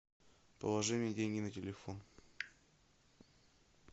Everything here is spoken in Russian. положи мне деньги на телефон